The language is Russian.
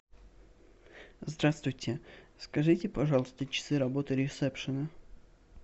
здравствуйте скажите пожалуйста часы работы ресепшена